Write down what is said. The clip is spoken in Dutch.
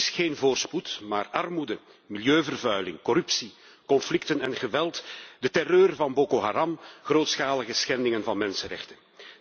Er is geen voorspoed, maar armoede, milieuvervuiling, corruptie, conflicten en geweld, de terreur van Boko Haram, grootschalige schendingen van de mensenrechten.